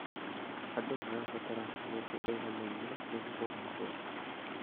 Andũ marabatara mĩeke ĩiganaine nĩguo kũgacĩra.